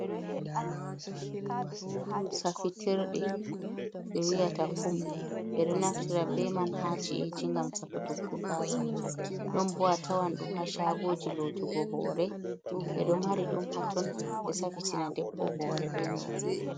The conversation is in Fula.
Safitirde ɓe wiyata kum, ɓe ɗo naftira beman ha ci’eji gam safutuggo gasa, ɗon bu a tawan ɗum ha shagoji lotugo howre, ɓe ɗo mari ɗum hatton, ɓe safitina debbo hore be man.